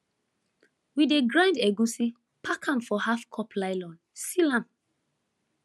we dey grind egusi pack am for halfcup nylon seal am